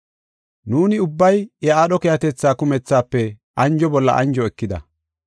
Nuuni ubbay iya aadho keehatetha kumethaafe anjo bolla anjo ekida.